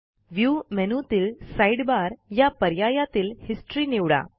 view मेनूतील sidebar या पर्यायातील हिस्टरी निवडा